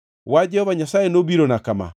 Wach Jehova Nyasaye nobirona kama: